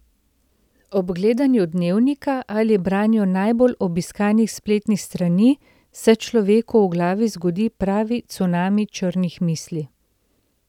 Ob gledanju dnevnika ali branju najbolj obiskanih spletnih strani se človeku v glavi zgodi pravi cunami črnih misli.